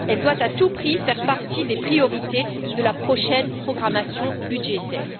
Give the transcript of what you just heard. elle doit à tout prix faire partie des priorités de la prochaine programmation budgétaire.